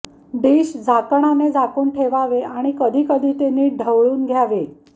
dish झाकणाने झाकून ठेवावे आणि कधीकधी ते नीट ढवळून घ्यावे